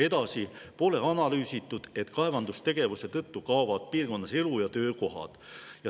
Edasi: pole analüüsitud, kas kaevandustegevuse tõttu kaovad piirkonnas elu‑ ja töökohad.